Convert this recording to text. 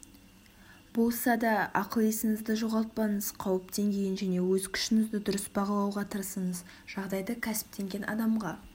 болса да ақыл-есіңізді жоғалтпаңыз қауіп деңгейін және өз күшіңізді дұрыс бағалауға тырысыңыз жағдайды кәсіптенген адамға